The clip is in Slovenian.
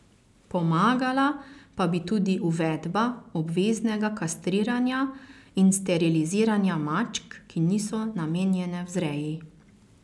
Pomagala pa bi tudi uvedba obveznega kastriranja in steriliziranja mačk, ki niso namenjene vzreji.